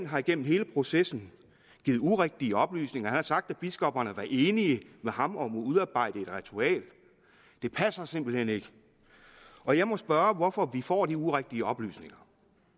har igennem hele processen givet urigtige oplysninger han har sagt at biskopperne er enige med ham om at udarbejde et ritual det passer simpelt hen ikke og jeg må spørge hvorfor vi får de urigtige oplysninger